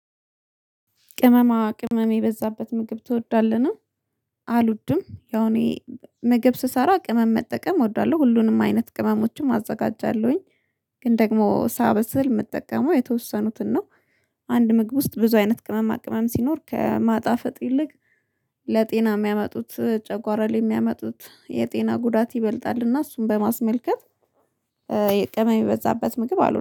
ቅመማ ቅመም የበዛበት ምግብ ትወዳለህን? አልውድም ያው እኔ ምግብ ስሰራ ቅመም መጠቀም እወዳለሁ ሁሉንም አይነት ቅመሞችም አዘጋጃለሁኝ። ግን ደግሞ ሳበስል የምጠቀመው የተወሰኑትን ነው። አንድ ምግብ ውስጥ ብዙ አይነት ቅመማ ቅመም ሲኖር ከማጣፈጥ ይልቅ። ለጤና የሚያመጡት ጨጓራ ላይ የሚያመጡት የጤና ጉዳት ይበልጣል እና እሱን በማስመልከት። የቅመም የበዛበት ምግብ አልወድም